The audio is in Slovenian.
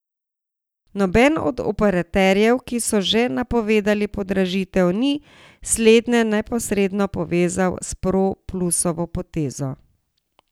Noben od operaterjev, ki so že napovedali podražitev, ni slednje neposredno povezal s Pro plusovo potezo.